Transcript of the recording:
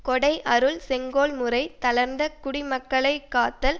கொடை அருள் செங்கோல் முறை தளர்ந்த குடிமக்களை காத்தல்